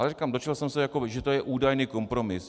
Ale říkám, dočetl jsem se, že to je údajný kompromis.